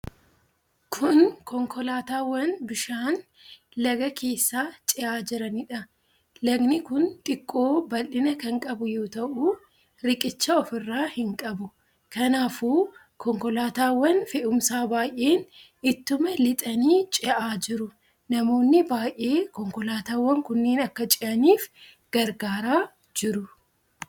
Kun konkolaataawwan bishaan lagaa keessa ce'aa jiraniidha. Lagni kun xiqqoo bal'ina kan qabu yoo ta'u, riqicha ofirraa hin qabu. Kanaafuu konkolaataawwan fe'umsaa baay'een ittuma lixanii ce'aa jiru. Namoonni baay'ee konkolaataawan kunneen akka ce'aniif gargaaraa jiru.